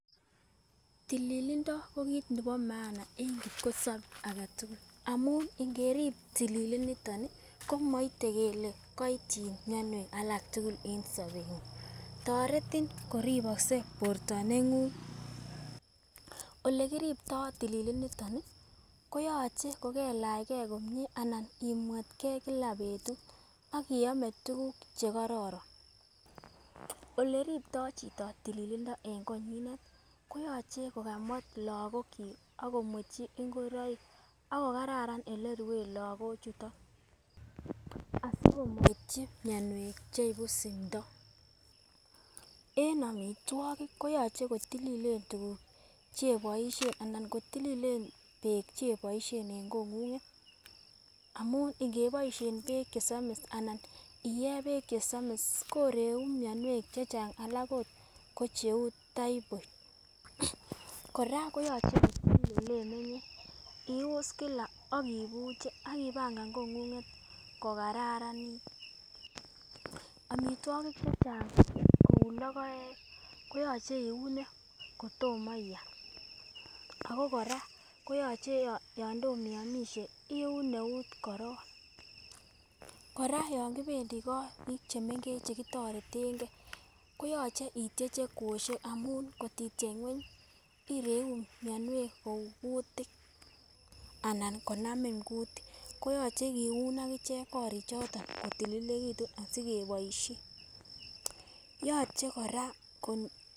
Tililindo ko kit nebo maan kipkosobe agetukul amun ngerib tililiniton nii komoite kele koityi mionwek alak tukuk en sobenguny, toreti koriboksei borto nenguny. Olekiriptoo tililiniton nii koyoche kokelechegee komie anan imwetgee kila betut ak iome tukuk chekoron, oleripto chito tililindo en konyinet koyoche kokamwet lokok chik ak komwetchi ngoroik ak ko kararan ole ruen lokok chuton asimoityi mionwek cheibu simto. En omitwokik koyoche kotililen tukuk cheiboishen ana kotililen beek cheiboishen en kongunget amun ngeboishen beek chesomii anan iyee beek chesomis kireu mionwek chechang alak ot ko cheu typhoid Koraa koyoche kotilil oleimenye ius kila ak ibuche ak ipangan kongunget kokararanit. Omitwokik chechang kou lokoek koyoche ioune kotomo I am ako Koraa koyoche yon tomo iomishe iun neut korong. Koraa yon kopendii korik chemengech chekitoretengee koyoche ityeche kwoshek amun kotityech ngweny ireu mionwek kou kutik anan konamin kutik koyoche kiun akichek korik choto kotililekitun asikeboishen, yoche Koraa ko.